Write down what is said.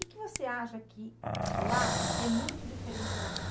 O que que você acha que lá é muito diferente daqui?